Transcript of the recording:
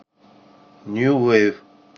нью вейв